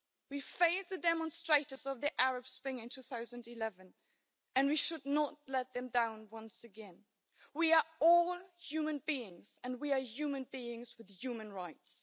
We failed the demonstrators of the Arab Spring in 2011, and we should not let them down once again. We are all human beings and we are human beings with human rights.